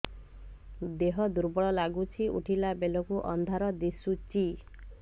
ଦେହ ଦୁର୍ବଳ ଲାଗୁଛି ଉଠିଲା ବେଳକୁ ଅନ୍ଧାର ଦିଶୁଚି